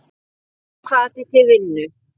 Aukinn hvati til vinnu.